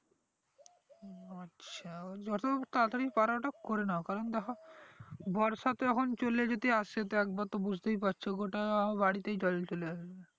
যত তাড়াতাড়ি পারো ওটা করে নাও কারণ দ্যাখো বর্ষাতো এখন চলে যেতে আসছে তো একবার তো বুজতে পারছো গোটা বাড়িতে জল চলে আসবে